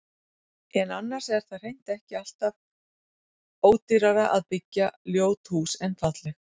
En annars er það hreint ekki allt af ódýrara að byggja ljót hús en falleg.